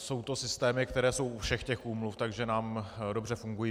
Jsou to systémy, které jsou u všech těch úmluv, takže nám dobře fungují.